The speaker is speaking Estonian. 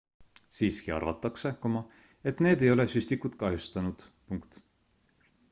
siiski arvatakse et need ei ole süstikut kahjustanud